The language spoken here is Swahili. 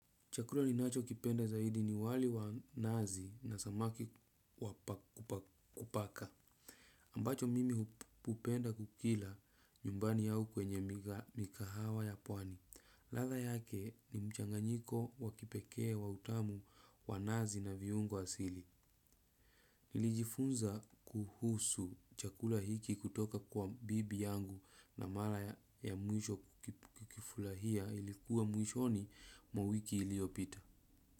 Chakula ninachokipenda zaidi ni wali wa nazi na samaki wa kupaka. Ambacho mimi hupenda kukila nyumbani au kwenye mikahawa ya pwani. Ladha yake ni mchanganyiko wa kipekee wa utamu wa nazi na viungo asili. Nilijifunza kuhusu chakula hiki kutoka kwa bibi yangu na mara ya mwisho kukifurahia ilikuwa mwishoni mwa wiki iliyopita.